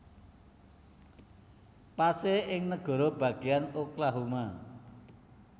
Pasé ing negara bagéan Oklahoma